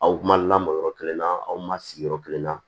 Aw ma lamɔ yɔrɔ kelen na aw ma sigi yɔrɔ kelen na